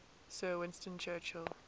sir winston churchill